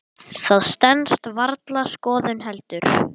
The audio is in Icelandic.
Það stenst varla skoðun heldur.